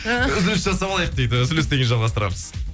үзіліс жасап алайық дейді үзілістен кейін жалғастырамыз